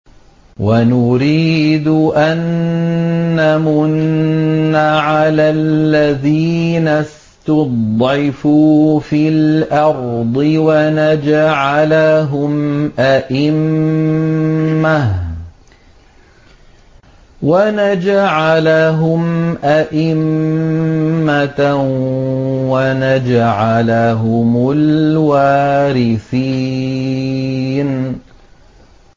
وَنُرِيدُ أَن نَّمُنَّ عَلَى الَّذِينَ اسْتُضْعِفُوا فِي الْأَرْضِ وَنَجْعَلَهُمْ أَئِمَّةً وَنَجْعَلَهُمُ الْوَارِثِينَ